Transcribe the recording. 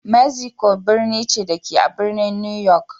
Mexico birni ce, da ke a birnin New York.